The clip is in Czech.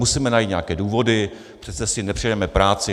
Musíme najít nějaké důvody, přece si nepřiděláme práci.